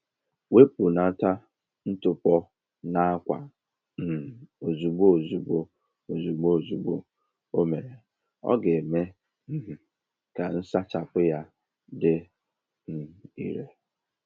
Wepụnata ntụpọ n'akwa um ozugbo ozugbo o ozugbo ozugbo o mere, ọ ga-eme um ka nsachapụ ya dị um ire.